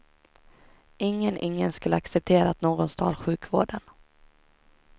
Ingen, ingen skulle acceptera att någon stal sjukvården.